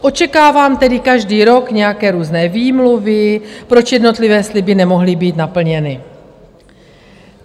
Očekávám tedy každý rok nějaké různé výmluvy, proč jednotlivé sliby nemohly být naplněny.